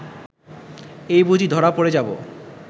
এই বুঝি ধরা পড়ে যাব